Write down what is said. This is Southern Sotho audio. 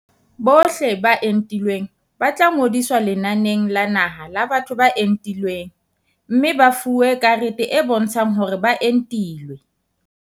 Bohle ba entilweng ba tla ngodiswa lenaneng la naha la batho ba entilweng mme ba fuwe karete e bontshang hore ba entilwe.